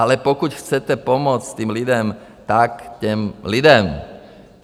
Ale pokud chcete pomoci těm lidem, tak těm lidem.